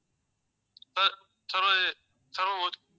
sir